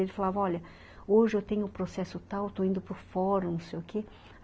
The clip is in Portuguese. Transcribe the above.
Ele falava, ''olha, hoje eu tenho o processo tal, eu estou indo para o fórum, não sei o quê.''